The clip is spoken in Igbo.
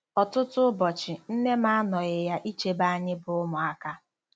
Ọtụtụ ụbọchị, nne m anọghị ya ichebe anyị bụ́ ụmụaka.